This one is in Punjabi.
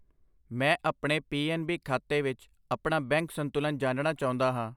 ਮੈਂ ਆਪਣੇ ਪੀ ਐਨ ਬੀ ਖਾਤੇ ਵਿੱਚ ਆਪਣਾ ਬੈਂਕ ਸੰਤੁਲਨ ਜਾਣਨਾ ਚਾਉਂਦਾ ਹਾਂ I